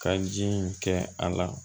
Ka ji in kɛ a la